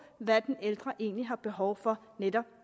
hvad den ældre egentlig har behov for netop